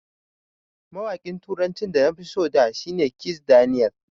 Mawaƙin turacin da nafi so a da shi ne Kizz Daniel.